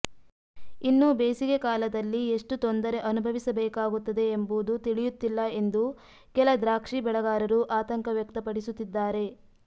ಇನ್ನೂ ಬೇಸಿಗೆ ಕಾಲದಲ್ಲಿ ಎಷ್ಟು ತೊಂದರೆ ಅನುಭವಿಸಬೇಕಾಗುತ್ತದೆ ಎಂಬುದು ತಿಳಿಯುತ್ತಿಲ್ಲ ಎಂದು ಕೆಲ ದ್ರಾಕ್ಷಿ ಬೆಳೆಗಾರರು ಆತಂಕ ವ್ಯಕ್ತಪಡಿಸುತ್ತಿದ್ದಾರೆ